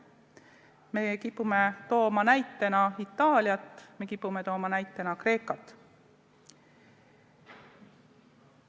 Me kipume toome näitena Itaaliat, me kipume tooma näitena Kreekat.